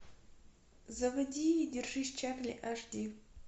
заводи держись чарли аш ди